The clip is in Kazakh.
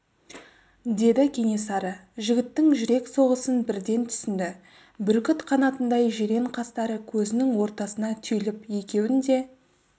деді кенесары жігіттің жүрек соғысын бірден түсінді бүркіт қанатындай жирен қастары көзінің ортасына түйіліп екеуін де